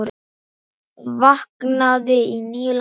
Vaknaði í nýju landi.